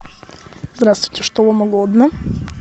здравствуйте что вам угодно